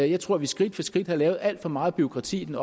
jeg tror at vi skridt for skridt har lavet alt for meget bureaukrati i den